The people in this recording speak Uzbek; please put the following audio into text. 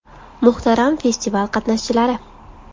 Muhtaram festival qatnashchilari!